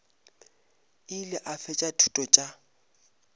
ile a fetša dithuto tša